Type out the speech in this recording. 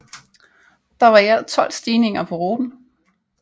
Der var i alt 12 stigninger på ruten